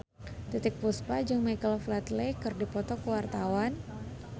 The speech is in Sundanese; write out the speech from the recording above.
Titiek Puspa jeung Michael Flatley keur dipoto ku wartawan